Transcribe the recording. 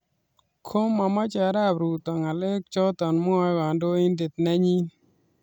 Ko mamoche arap ruto ngalek chotok mwae kandoindet nenyi.